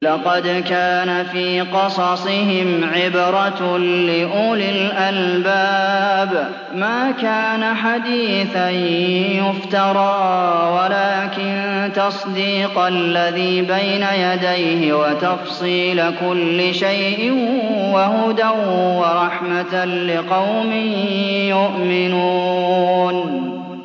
لَقَدْ كَانَ فِي قَصَصِهِمْ عِبْرَةٌ لِّأُولِي الْأَلْبَابِ ۗ مَا كَانَ حَدِيثًا يُفْتَرَىٰ وَلَٰكِن تَصْدِيقَ الَّذِي بَيْنَ يَدَيْهِ وَتَفْصِيلَ كُلِّ شَيْءٍ وَهُدًى وَرَحْمَةً لِّقَوْمٍ يُؤْمِنُونَ